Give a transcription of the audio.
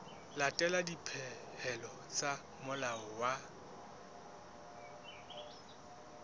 latela dipehelo tsa molao wa